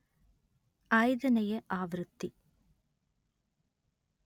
ಐದನೆಯ ಆವೃತ್ತಿ